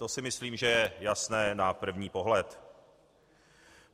To si myslím, že je jasné na první pohled.